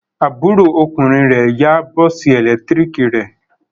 Àbúrò ọkùnrin rẹ̀ yá bọ́ọ́sì ẹ̀lẹ́tíríkì rẹ̀.